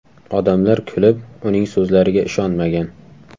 Odamlar kulib, uning so‘zlariga ishonmagan.